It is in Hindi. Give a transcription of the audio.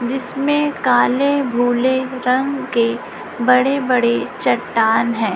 जिसमें काले भूले रंग के बड़े बड़े चट्टान है।